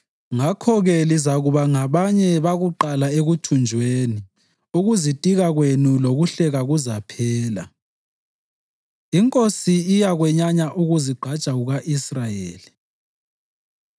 Ngakho-ke lizakuba ngabanye bakuqala ekuthunjweni; ukuzitika kwenu lokuhleka kuzaphela. Inkosi Iyakwenyanya Ukuzigqaja Kuka-Israyeli